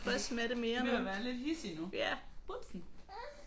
Hun er ved at være lidt hidsig nu vupsi